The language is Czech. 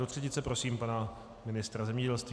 Do třetice prosím pana ministra zemědělství.